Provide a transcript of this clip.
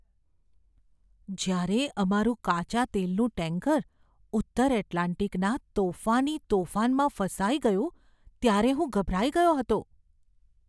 જ્યારે અમારું કાચા તેલનું ટેન્કર ઉત્તર એટલાન્ટિકના તોફાની તોફાનમાં ફસાઈ ગયું ત્યારે હું ગભરાઈ ગયો હતો.